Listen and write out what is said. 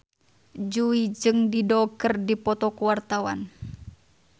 Jui jeung Dido keur dipoto ku wartawan